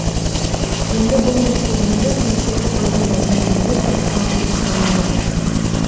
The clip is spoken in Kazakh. енді бұл мәселелерді мемлекеттік органдармен бірге талқылауды жоспарлап отыр